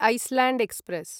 island express